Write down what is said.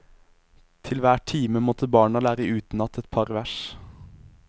Til hver time måtte barna lære utenat etpar vers.